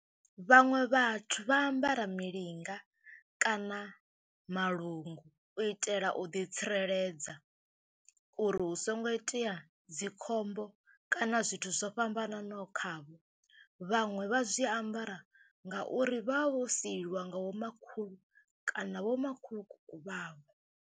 Vhaṅwe vhathu vha ambara milinga kana malungu u itela u ḓitsireledza uri hu songo itea dzi khombo kana zwithu zwo fhambananaho khavho. Vhaṅwe vha zwi ambara ngauri vha vha vho sielwa nga vhomakhulu kana vhomakhulukuku vhavho.